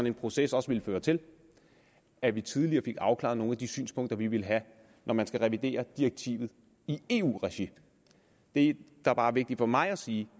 en proces også ville føre til at vi tidligere fik afklaret nogle af de synspunkter vi ville have når man skal revidere direktivet i eu regi det der bare er vigtigt for mig at sige